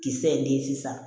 Kisɛ ye den sisan